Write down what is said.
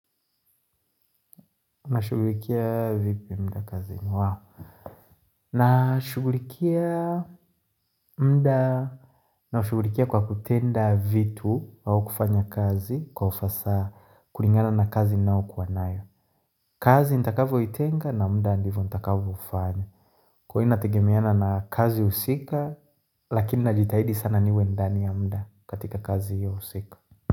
Nashughulikia muda kwa kutenda vitu au kufanya kazi kwa ufasaha kulingana na kazi ninayokuwa nayo. Kazi ntakavyo itenga na muda na ndivyo nitakavyofanya. Kwa hiyo inategemeana na kazi husika, lakini najitahidi sana niwe ndani ya muda katika kazi hiyo husika.